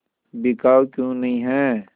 बिकाऊ क्यों नहीं है